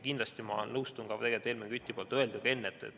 Kindlasti ma nõustun ka Helmen Küti öelduga.